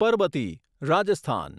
Parbati Rajasthan